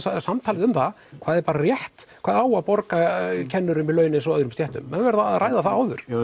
samtal um það hvað er bara rétt hvað á að borga kennurum í laun eins og öðrum stéttum menn verða að ræða það áður ég